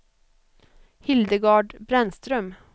Hildegard Brännström